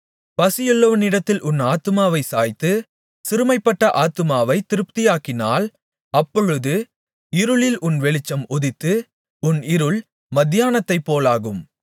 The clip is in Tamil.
பசியுள்ளவனிடத்தில் உன் ஆத்துமாவைச் சாய்த்து சிறுமைப்பட்ட ஆத்துமாவைத் திருப்தியாக்கினால் அப்பொழுது இருளில் உன் வெளிச்சம் உதித்து உன் இருள் மத்தியானத்தைப் போலாகும்